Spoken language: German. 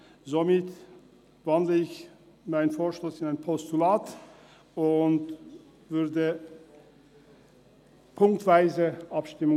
Somit wandle ich meinen Vorstoss in ein Postulat und unterstütze die ziffernweise Abstimmung.